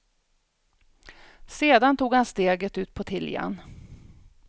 Sedan tog han steget ut på tiljan.